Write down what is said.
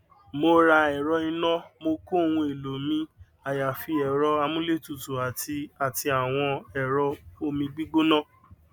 mo ra ẹrọ iná mo kó ohun èlò mi àyàfi ẹrọ amúlétutù àti àti àwọn ẹrọ omígbígbọna